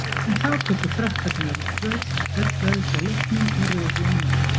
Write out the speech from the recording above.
En þá tóku Frakkarnir öll völd á leiknum og röðuðu inn mörkum.